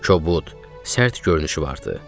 Kobud, sərt görünüşü vardı.